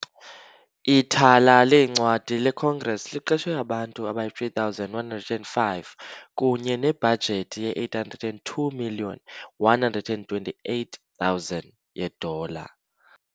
Ithala leencwadi leCongress liqeshe abantu abayi-3,105, kunye nebhajethi ye-802,128,000 yeedola .